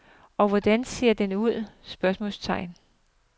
Og hvordan ser den ud? spørgsmålstegn